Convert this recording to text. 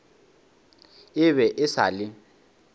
e be e sa le